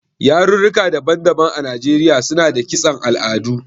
Yarurruka daban-daban a Najeriya suna da kiston al'adu.